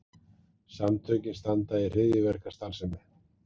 Samtökin standa í hryðjuverkastarfsemi